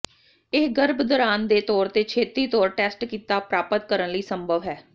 ਇਹ ਗਰਭ ਦੌਰਾਨ ਦੇ ਤੌਰ ਤੇ ਛੇਤੀ ਤੌਰ ਟੈਸਟ ਕੀਤਾ ਪ੍ਰਾਪਤ ਕਰਨ ਲਈ ਸੰਭਵ ਹੈ